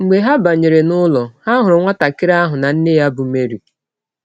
Mgbe ha banyere n’ụlọ, ha hụrụ nwatakịrị ahụ na nne ya bụ́ Meri. ”